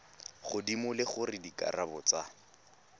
godimo le gore dikarabo tsa